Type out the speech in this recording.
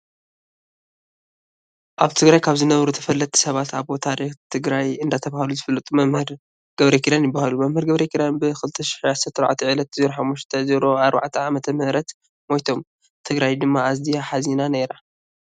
ኣብ ትግራይ ካብ ዝነበሩ ተፈለጥቲ ሰባት ኣቦ ታሪክ ትግራይ እንዳተባሃሉ ዝፍለጡ መምህር ገረኪዳን ይበሃሉ። መምህር ገረኪዳን ብ2014 ዕለት 05/04ዓ/ም ሞይቶም ። ትግራይ ድማ ኣዝያ ሓዚና ነይራ።